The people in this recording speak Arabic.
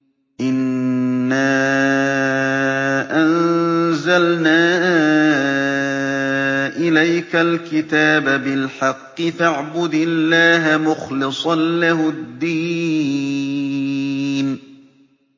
إِنَّا أَنزَلْنَا إِلَيْكَ الْكِتَابَ بِالْحَقِّ فَاعْبُدِ اللَّهَ مُخْلِصًا لَّهُ الدِّينَ